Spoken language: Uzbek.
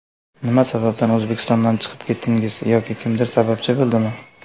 Nima sababdan O‘zbekistondan chiqib ketdingiz yoki kimdir sababchi bo‘ldimi?